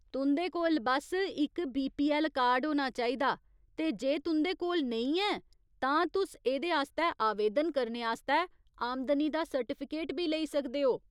तुं'दे कोल बस्स इक बीपीऐल्ल कार्ड होना चाहिदा ते जे तुं'दे कोल नेईं ऐ, तां तुस एह्दे आस्तै आवेदन करने आस्तै आमदनी दा सर्टिफिकेट बी लेई सकदे ओ।